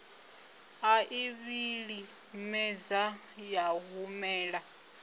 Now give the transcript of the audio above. a i vhilimedza ya humela